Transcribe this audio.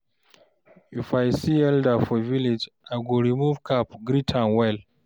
If I see elder for village, I go remove cap greet am well.